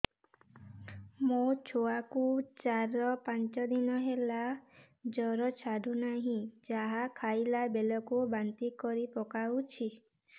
ମୋ ଛୁଆ କୁ ଚାର ପାଞ୍ଚ ଦିନ ହେଲା ଜର ଛାଡୁ ନାହିଁ ଯାହା ଖାଇଲା ବେଳକୁ ବାନ୍ତି କରି ପକଉଛି